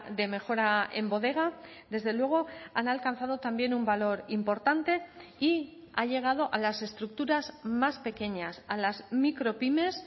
de mejora en bodega desde luego han alcanzado también un valor importante y ha llegado a las estructuras más pequeñas a las micropymes